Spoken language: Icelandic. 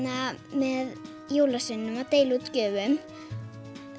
með jólasveininum að deila út gjöfum